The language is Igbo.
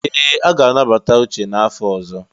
Ee! A ga-anabata Uche n'afọ ọzọ.